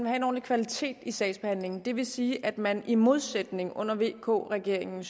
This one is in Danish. at en ordentlig kvalitet i sagsbehandlingen vil sige at man i modsætning til under vk regeringen